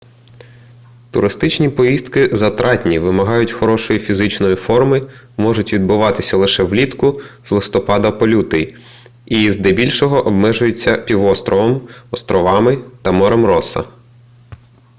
туристичні поїздки затратні вимагають хорошої фізичної форми можуть відбуватися лише влітку з листопада по лютий і здебільшого обмежуються півостровом островами та морем росса